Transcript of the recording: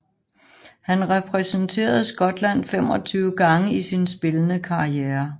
Han repræsenterede Skotland 25 gange i sin spillende karriere